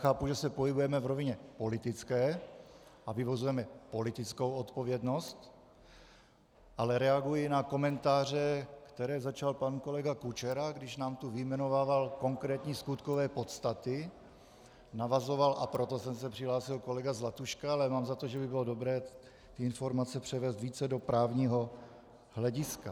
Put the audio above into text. Chápu, že se pohybujeme v rovině politické a vyvozujeme politickou odpovědnost, ale reaguji na komentáře, které začal pan kolega Kučera, když nám tu vyjmenovával konkrétní skutkové podstaty, navazoval, a proto jsem se přihlásil, kolega Zlatuška, ale mám za to, že by bylo dobré ty informace převést více do právního hlediska.